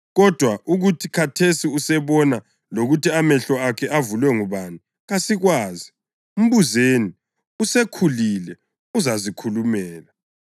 Kodwa ukuthi khathesi usebona lokuthi amehlo akhe avulwe ngubani kasikwazi. Mbuzeni. Usekhulile; uzazikhulumela.”